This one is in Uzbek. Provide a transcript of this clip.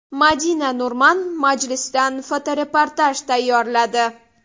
Madina Nurman majlisdan fotoreportaj tayyorladi.